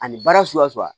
Ani baara suguya suguya